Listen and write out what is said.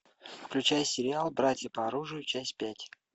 включай сериал братья по оружию часть пять